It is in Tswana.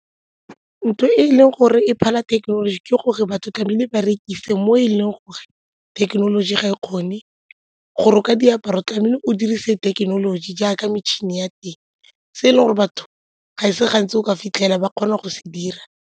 Ntho e e leng gore e phala thekenoloji ke gore batho tlamehile ba rekise mo e leng gore thekenoloji ga e kgone, go roka diaparo tlamehile o dirise thekenoloji jaaka metšhini ya teng se e leng gore batho ga e se gantsi o ka fitlhela ba kgona go se dira.